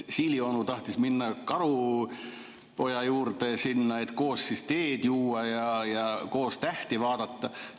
Siilionu tahtis minna karupoja juurde, et koos teed juua ja tähti vaadata.